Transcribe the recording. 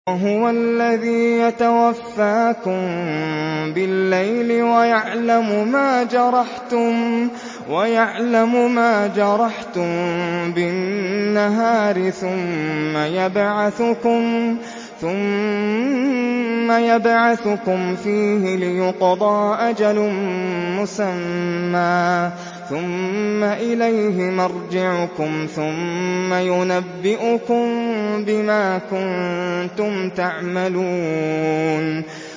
وَهُوَ الَّذِي يَتَوَفَّاكُم بِاللَّيْلِ وَيَعْلَمُ مَا جَرَحْتُم بِالنَّهَارِ ثُمَّ يَبْعَثُكُمْ فِيهِ لِيُقْضَىٰ أَجَلٌ مُّسَمًّى ۖ ثُمَّ إِلَيْهِ مَرْجِعُكُمْ ثُمَّ يُنَبِّئُكُم بِمَا كُنتُمْ تَعْمَلُونَ